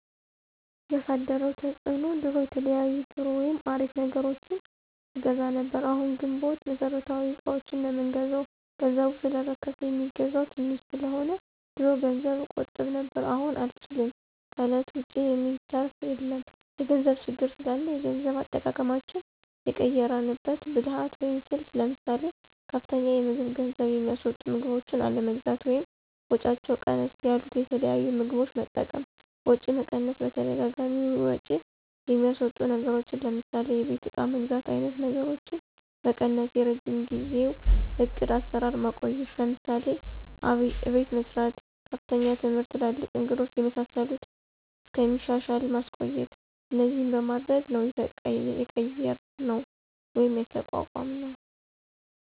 ያሳደረው ተፅዕኖ ድሮ የተለያዩ ጥሩ ወይም አሪፍ ነገሮችን አገዛ ነብር አሁን ግንቦት መሠረታዊ እቃዎችን ነው ምንገዛው ገንዘቡ ሰለረከስ የሚገዛው ተንሽ ሰለሆነ። ድሮ ገንዘብ እቆጥብ ነብር አሁን አንችልም ከእለት ወጭ የሚተራፍ የለም የገንዘብ ችግር ስላላ የገንዘብ አጠቃቀማችን የቀየራንበት ብልህት ወይም ስልት ለምሳሌ፦ ከፍተኛ የምግብ ገንዝብ የሚስወጡ ምግቦችን አለመግዛት ወይም ወጫቸው ቀነስ ያሉት የተለያዩ ምግቦች መጠቀም፣ ወጪ መቀነስ በተደጋጋሚ ወጭ የሚያስወጡ ነገሮችን ለምሳሌ የቤት እቃ መግዛት አይነት ነገሮችን መቀነሰ፣ የረጅም ጊዜው ዕቅድ አሰራር ማቆየት ለምሳሌ፦ አቤት መሰራት፣ ከፍተኛ ትምህርት ትላልቅ እንግዶች የመሳሰሉት እስከሚሻሻል ማቆየት እነዚህን በማድረግ ነው የቀየራነው ወይም የተቋቋምነውደ